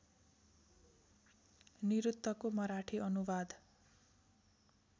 निरुक्तको मराठी अनुवाद